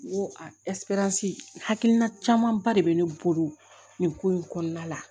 N ko a hakilina camanba de bɛ ne bolo nin ko in kɔnɔna la